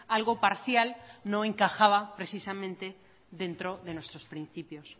algo parcial no encajaba precisamente dentro de nuestros principios